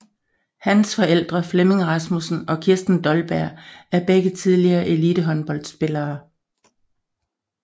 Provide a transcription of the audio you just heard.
Hans forældre Flemming Rasmussen og Kirsten Dolberg er begge tidligere elitehåndboldspillere